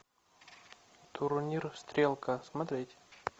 турнир стрелка смотреть